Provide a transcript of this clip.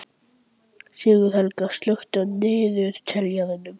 Sigurhelga, slökktu á niðurteljaranum.